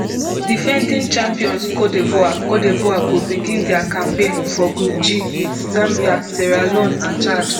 defending champions cote divoire cote divoire go begin dia campaign for group g wit zambia sierra leone and chad